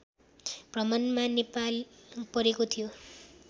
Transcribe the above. भ्रमणमा नेपाल परेको थियो